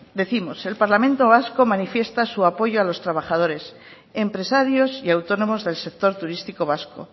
decimos el parlamento vasco manifiesta su apoyo a los trabajadores empresarios y autónomos del sector turístico vasco